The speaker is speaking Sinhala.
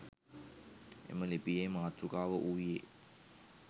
එම ලිපියේ මාතෘකාව වූයේ